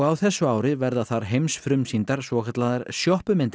þessu ári verða þar svokallaðar